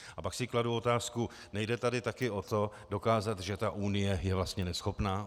A pak si kladu otázku - nejde tady taky o to dokázat, že ta Unie je vlastně neschopná?